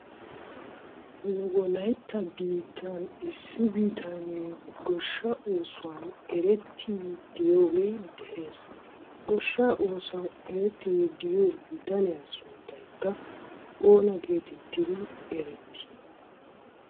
Nu wolayitta boottaan issi bitaneegoshsha oosuwan merettidi diyogee de'es. Goshshaa oosuwan merettidi diyo bitaniya sunttaykka oona geettettidi erettii?